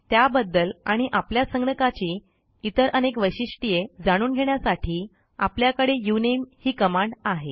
त्याबद्दल आणि आपल्या संगणकाची इतर अनेक वैशिष्ट्ये जाणून घेण्यासाठी आपल्याकडे उनमे ही कमांड आहे